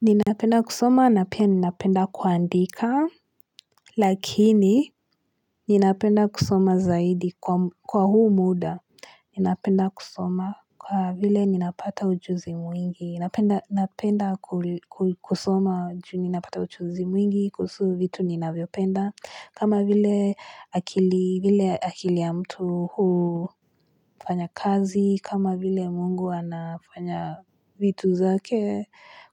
Ninapenda kusoma na pia ninapenda kuandika, lakini ninapenda kusoma zaidi kwa huu muda. Ninapenda kusoma kwa vile ninapata ujuzi mwingi. Ninapenda kusoma juu ninapata ujuzi mwingi kuhusu vitu ninavyo penda. Kama vile akili ya mtu huu fanya kazi. Kama vile mungu anafanya vitu zake